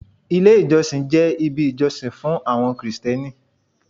Ilé ìjọsìn jẹ́ ibi ìjọsìn fún àwọn krìstẹ́nì.